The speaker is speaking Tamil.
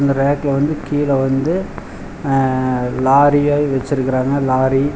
அந்த ரேக்ல வந்து கீழ வந்து அ லாரிய வெச்சுருக்குறாங்க லாரி --